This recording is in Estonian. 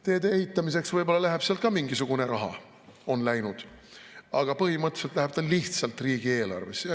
Teede ehitamiseks võib-olla läheb sealt ka mingisugune raha, on läinud, aga põhimõtteliselt läheb ta lihtsalt riigieelarvesse.